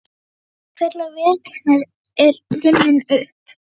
Tími fullrar viðurkenningar er runninn upp.